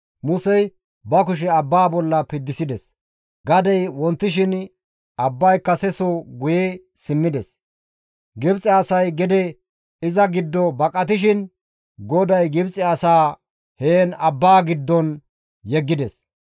Musey ba kushe abbaa bolla piddisides; gadey wontishin abbay kase ba diza soho guye simmides; Gibxe asay gede iza giddo baqatishin GODAY Gibxe asaa heen abbaa giddon yeggides.